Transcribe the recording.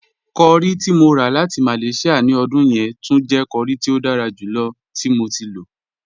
Curry ti mo rà láti Malaysia ní ọdún yẹn túń jẹ̀ curry tí o dára júlọ̀ tí mo ti lọ.